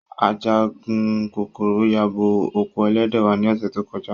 Ajagun kokoro yabo oko elede wa ni ose to koja.